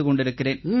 கொண்டிருக்கிறேன்